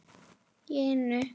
Í einu!